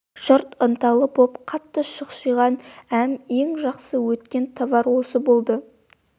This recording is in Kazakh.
жұрт ынталы боп қатты шұқшиған әм ең жақсы өткен товар осы болды